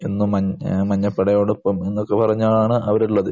എന്നും മൻ മഞ്ഞപ്പടയോടൊപ്പം എന്നൊക്കെ പറഞ്ഞാണ് അവർ ഉള്ളത്.